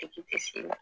Dekun tɛ se i la